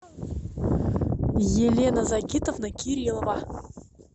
елена загитовна кириллова